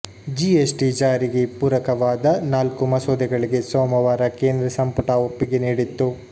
GST ಜಾರಿಗೆ ಪೂರಕವಾದ ನಾಲ್ಕು ಮಸೂದೆಗಳಿಗೆ ಸೋಮವಾರ ಕೇಂದ್ರ ಸಂಪುಟ ಒಪ್ಪಿಗೆ ನೀಡಿತ್ತು